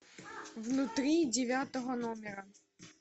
внутри девятого номера